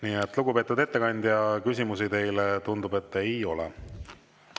Nii et, lugupeetud ettekandja, küsimusi teile, tundub, et ei ole.